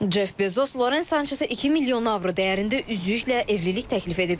Ceff Bezos Loren Sançezə 2 milyon avro dəyərində üzüklə evlilik təklif edib.